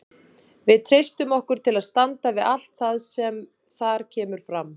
Við treystum okkur til að standa við allt það sem þar kemur fram.